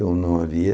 Eu não havia.